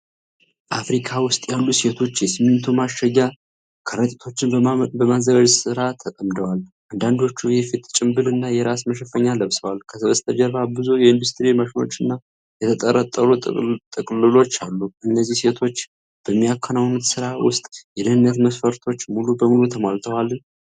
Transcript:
ፋብሪካ ውስጥ ያሉ ሴቶች የሲሚንቶ ማሸጊያ ከረጢቶችን በማዘጋጀት ሥራ ተጠምደዋል። አንዳንዶቹ የፊት ጭምብል እና የራስ መሸፈኛ ለብሰዋል። ከበስተጀርባ ብዙ የኢንዱስትሪ ማሽኖች እና የተጠረጠሩ ጥቅልሎች አሉ። እነዚህ ሴቶች በሚያከናውኑት ሥራ ውስጥ የደህንነት መስፈርቶች ሙሉ በሙሉ ተሟልተዋል?